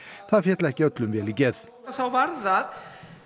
það féll ekki öllum vel í geð þá var það